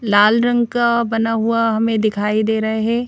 लाल रंग का बना हुआ हमें दिखाई दे रहे है।